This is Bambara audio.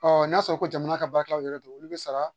n'a y'a sɔrɔ ko jamana ka baarakɛlaw yɛrɛ do, olu bɛ sara